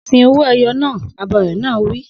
Sin owó-ẹyọ naa! Abọrẹ̀ náà á wí.